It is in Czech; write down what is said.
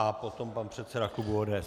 A potom pan předseda klubu ODS.